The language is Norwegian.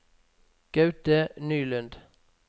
Gaute Nylund